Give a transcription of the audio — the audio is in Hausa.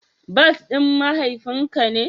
Bas din mahaifin ka ne?